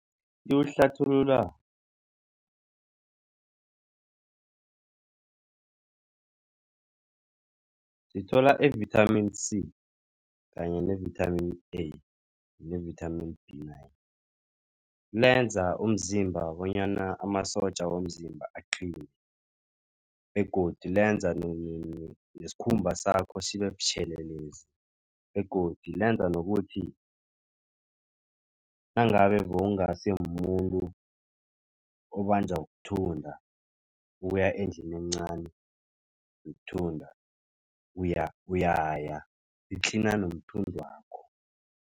Liwuhlathulula sithola i-vithamini C kanye ne-Vitamin A ne-vithamini B nine. Lenza umzimba bonyana amasotja womzimba aqine begodu lenza nesikhumba sakho sibe butjhelelezi. Begodu lenza nokuthi nangabe bewungasimumuntu obanjwa kuthunda uya endlini encani yokuthunda uyaya i-cleaner nomthundwakho.